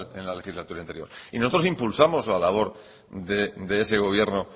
en la legislatura anterior y nosotros impulsamos la labor de ese gobierno